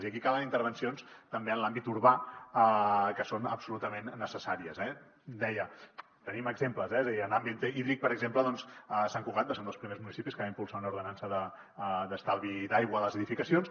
i aquí calen intervencions també en l’àmbit urbà que són absolutament necessàries eh deia en tenim exemples eh en l’àmbit hídric per exemple sant cugat va ser un dels primers municipis que va impulsar una ordenança d’estalvi d’aigua a les edificacions